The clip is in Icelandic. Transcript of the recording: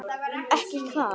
Ekki hvað?